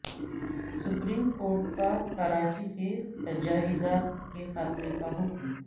supreme court کا کراچی سے تجاوزات کے خاتمے کا حکم